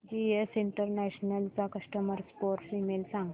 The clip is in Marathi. जीएस इंटरनॅशनल चा कस्टमर सपोर्ट ईमेल सांग